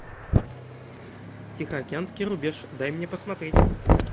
тихоокеанский рубеж дай мне посмотреть